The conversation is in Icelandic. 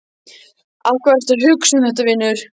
Af hverju ertu að hugsa um þetta, vinur?